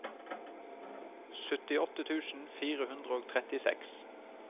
syttiåtte tusen fire hundre og trettiseks